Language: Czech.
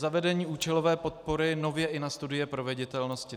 Zavedení účelové podpory nově i na studie proveditelnosti.